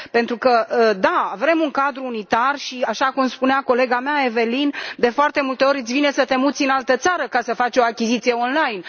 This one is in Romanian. Pentru că, într adevăr, vrem un cadru unitar și, așa cum spunea colega mea, Eveline, de foarte multe ori îți vine să te muți în altă țară ca să faci o achiziție online.